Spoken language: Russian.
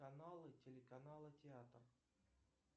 каналы телеканала театр